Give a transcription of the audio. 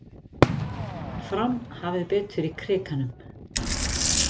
Fram hafði betur í Krikanum